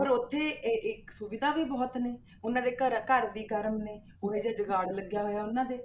ਪਰ ਉੱਥੇ ਇਹ ਇੱਕ ਸੁਵਿਧਾ ਵੀ ਬਹੁਤ ਨੇ, ਉਹਨਾਂ ਦੇ ਘਰ ਘਰ ਵੀ ਗਰਮੇ ਨੇ, ਉਹ ਜਿਹਾ ਜੁਗਾੜ ਲੱਗਿਆ ਹੋਇਆ ਉਹਨਾਂ ਦੇ,